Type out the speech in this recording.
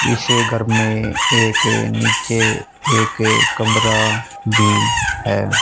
इस घर में एक नीचे एक कमरा भी है।